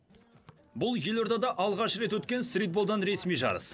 бұл елордада алғаш рет өткен стритболдан ресми жарыс